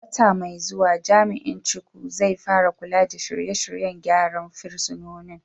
A wata mai zuwa, Jami’in Chukwu, zai fara kula da shirye-shiryen gyara fursunonin.